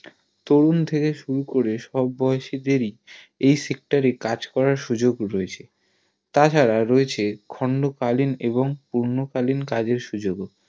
তরুণ থেকে শুরু করে সব বয়সে লোকের এই Sector এ কাজ করার সুযোগ রয়েছে তাছাড়া রয়েছে খন্ড কালীন এবং পূর্ণকালীন কাজের সুযোগ